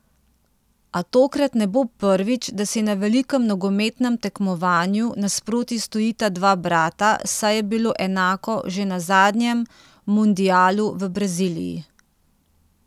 A tokrat ne bo prvič, da si na velikem nogometnem tekmovanju nasproti stojita dva brata, saj je bilo enako že na zadnjem mundialu v Braziliji.